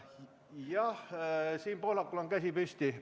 Jah, Siim Pohlakul on käsi püsti.